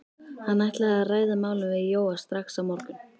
Hann ætlaði að ræða málin við Jóa strax á morgun.